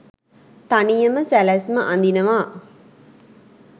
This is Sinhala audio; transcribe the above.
තනියම සැලැස්ම අඳිනවා